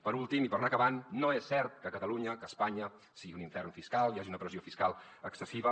per últim i per anar acabant no és cert que catalunya que espanya sigui un infern fiscal hi hagi una pressió fiscal excessiva